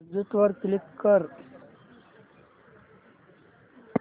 exit वर click कर